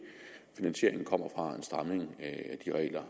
finansieringen kommer fra en stramning af de regler